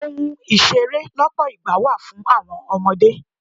Ohun ìṣeré lọpọ ìgbà wà fún àwọn ọmọdé.